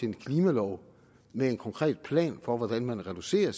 en klimalov med en konkret plan for hvordan man reducerer